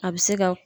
A bɛ se ka